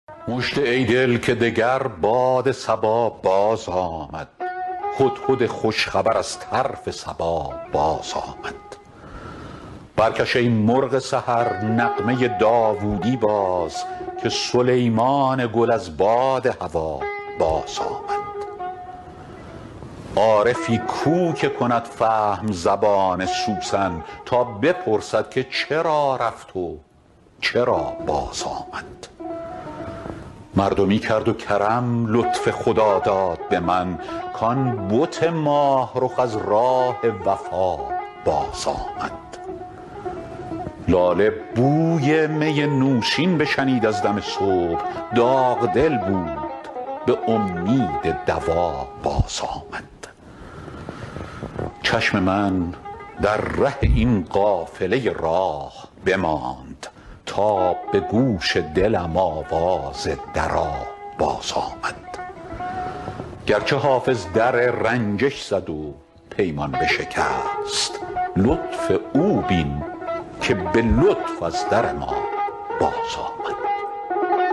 مژده ای دل که دگر باد صبا بازآمد هدهد خوش خبر از طرف سبا بازآمد برکش ای مرغ سحر نغمه داوودی باز که سلیمان گل از باد هوا بازآمد عارفی کو که کند فهم زبان سوسن تا بپرسد که چرا رفت و چرا بازآمد مردمی کرد و کرم لطف خداداد به من کـ آن بت ماه رخ از راه وفا بازآمد لاله بوی می نوشین بشنید از دم صبح داغ دل بود به امید دوا بازآمد چشم من در ره این قافله راه بماند تا به گوش دلم آواز درا بازآمد گرچه حافظ در رنجش زد و پیمان بشکست لطف او بین که به لطف از در ما بازآمد